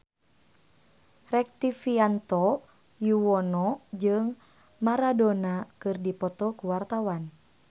Rektivianto Yoewono jeung Maradona keur dipoto ku wartawan